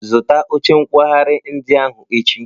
Zụta oche nkwagharị ndị ahụ echi!